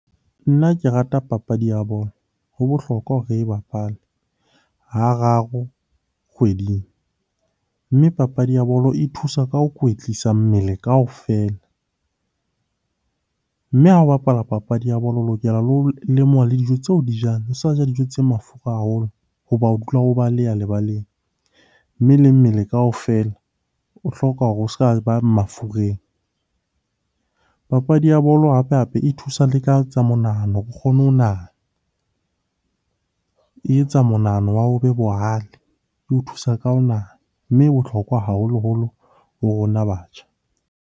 Nna ke rata papadi ya bolo. Ho bohlokwa hore re e bapale hararo kgweding. Mme papadi ya bolo e thusa ka ho kwetlisa mmele kaofela, mme ha o bapala papadi ya bolo o lokela le ho lemoha le dijo tse o di jang. O sa ja dijo tse mafura haholo hoba o o baleya lebaleng, mme le mmele kaofela o hloka hore o s'ka ba mafureng. Papadi ya bolo hape-hape e thusa le ka tsa monahano, o kgone ho nahana. E etsa monahano wa hao o be bohale, eo thusa ka ho nahana. Mme e bohlokwa haholoholo ho rona batjha.